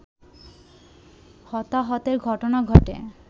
হতাহতের ঘটনা ঘটে